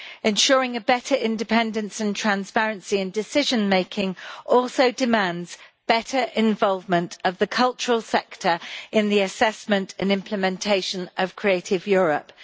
Ensuring better independence and transparency in decision making also demands better involvement of the cultural sector in the assessment and implementation of creative Europe.